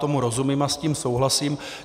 Tomu rozumím a s tím souhlasím.